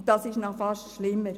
Dies ist fast noch schlimmer.